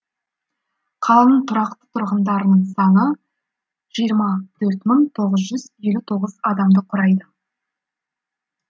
қаланың тұрақты тұрғындарының саны жиырма төрт мың тоғыз жүз елу тоғыз адамды құрайды